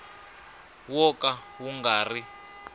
wo ka wu nga ri